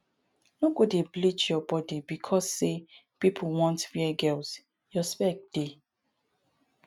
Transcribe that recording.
no go dey bleach your body becos say pipo want fair girls your spec dey